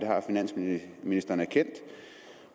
har finansministeren erkendt